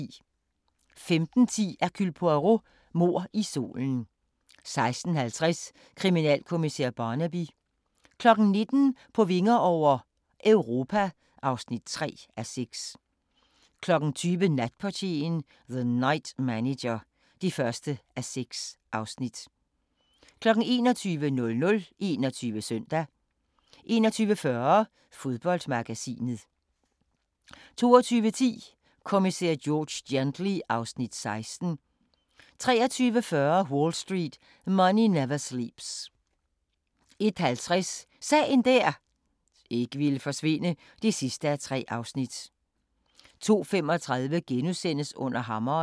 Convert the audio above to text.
15:10: Hercule Poirot: Mord i solen 16:50: Kriminalkommissær Barnaby 19:00: På vinger over - Europa (3:6) 20:00: Natportieren - The Night Manager (1:6) 21:00: 21 Søndag 21:40: Fodboldmagasinet 22:10: Kommissær George Gently (Afs. 16) 23:40: Wall Street: Money Never Sleeps 01:50: Sagen der ikke ville forsvinde (3:3) 02:35: Under hammeren *